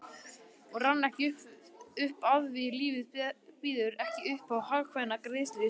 Hún rann ekki upp afþví lífið býður ekki uppá hagkvæma greiðsluskilmála